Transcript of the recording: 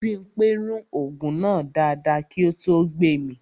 Bímpé rún ògùn náà dáadáa kí ó tó gbemì